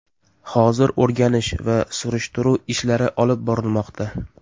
Hozir o‘rganish va surishtiruv ishlari olib borilmoqda.